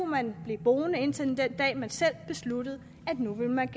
man blive boende indtil den dag man selv besluttede at man